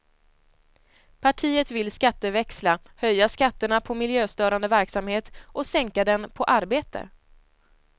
Partiet vill skatteväxla, höja skatterna på miljöstörande verksamhet och sänka den på arbete.